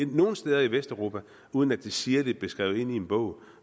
nogen steder i vesteuropa uden at det sirligt blev skrevet ind i en bog